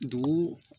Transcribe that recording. Dugu